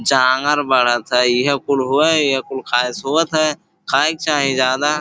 जांगर बाड़न स। इहै कुल हुवै। इहै कुल खाए सोवत है। खाए के चाही जादा।